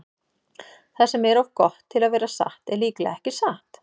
Það sem er of gott til að vera satt er líklega ekki satt.